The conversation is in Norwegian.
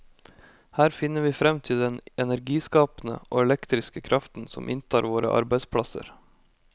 Her finner vi frem til den energiskapende og elektriske kraften som inntar våre arbeidsplasser.